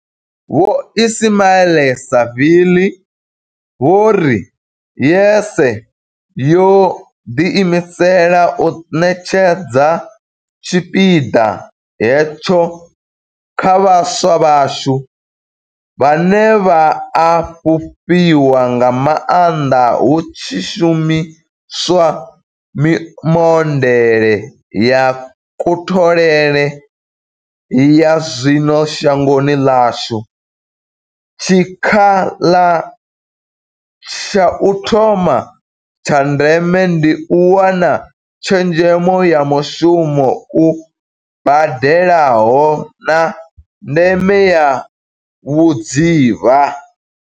Vho Ismail-Saville vho ri YES yo ḓi imisela u ṋetshedza tshipiḓa hetsho kha vhaswa vhashu, vhane vha a fhufhiwa nga maanḓa hu tshi shumi swa mimodeḽe ya kutholele ya zwino shangoni ḽashu, tshikha la tsha u thoma tsha ndeme ndi u wana tshezhemo ya mushumo u badelaho, na ndeme ya vhudzivha.